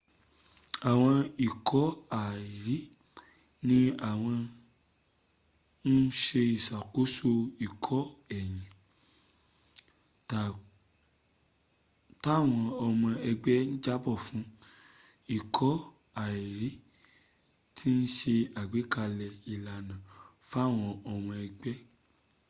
àwọn ikọ̀ àìrí” ni wọ́n ń se ìsàkóso ikọ̀ èyí táwọn ọmọ ẹgbẹ́ jábọ̀ fún. ikọ̀ àìrí ti se ágbékalẹ̀ ìlànà fáwọn ọmọ ẹgbẹ́